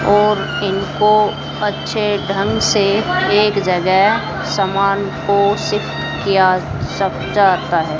और इनको अच्छे ढंग से एक जगह समान को शिफ्ट किया सक जाता है।